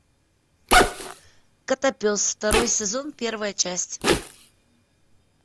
котопес второй сезон первая часть